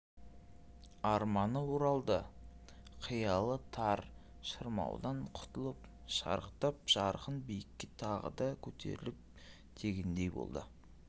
арманы оралды қиялы тар шырмаудан құтылып шарықтап жарқын биікке тағы да көтеріл дегендей болды